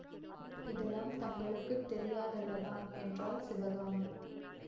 இதெல்லாம் தங்களுக்கு தெரியாதல்லவா என்றாள் சிவகாமி